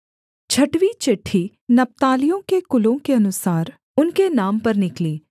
छठवीं चिट्ठी नप्तालियों के कुलों के अनुसार उनके नाम पर निकली